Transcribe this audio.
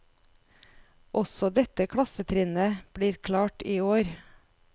Også dette klassetrinnet blir klart i år.